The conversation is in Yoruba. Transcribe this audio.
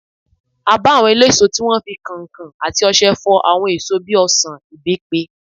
A bá àwọn eléso tí wọ́n ń fi kankan àti ọṣẹ fọ àwọn èso bíi ọsan, ibepe.